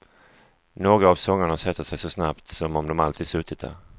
Några av sångerna sätter sig så snabbt som om de alltid suttit där.